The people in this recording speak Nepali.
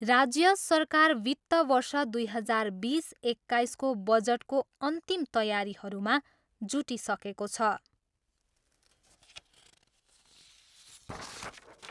राज्य सरकार वित्त वर्ष दुई हजार बिस एक्काइसको बजटको अन्तिम तयारीहरूमा जुटिसकेको छ।